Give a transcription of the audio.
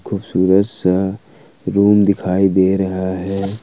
खूबसूरत सा रूम दिखाई दे रहा है।